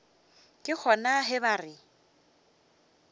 ke gona ge ba re